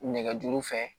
Nɛgɛjuru fɛ